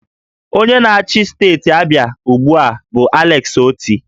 Onye na-achị steeti Abịa ugbu a bụ Alex Oti